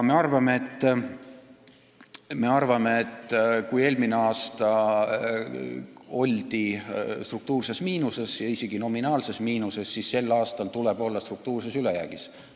Me arvame, et kui eelmine aasta oldi struktuurses miinuses ja isegi nominaalses miinuses, siis sel aastal tuleb olla struktuurses ülejäägis.